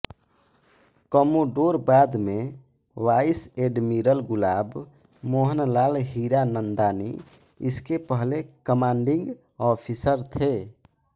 commodore बाद में vice admiral Gulab Mohanlal Hiranandani इसके पहले कमांडिंग ऑफिसर थे